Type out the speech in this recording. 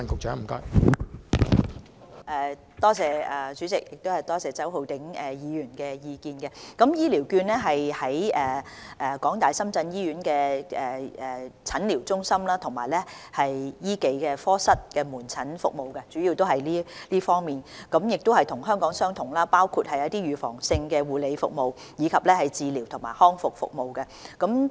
在港大深圳醫院使用的醫療券，主要是用於診療中心及醫技科室的門診服務，這與香港的情況相同，所使用的服務包括預防性的護理、治療及康復服務。